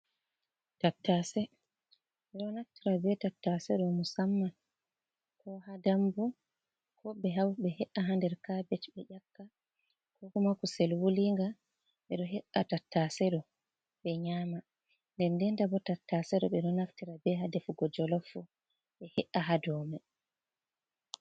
Ɓe ɗo naftira be tattase ɗo musamman ko ha dambu ko ɓe hauta ɓe he’a ha nder kabej ɓe ƴakka ko humaku kusel wulinga ɓe ɗo he’a tattase ɗo ɓe nyama denden ta bo tattase ɗo, ɓe ɗo naftira bo ha defugo jolof ɓe he’a ha dow mai.